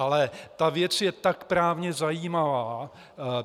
Ale ta věc je tak právně zajímavá!